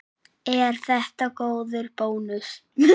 Er þetta góður bónus?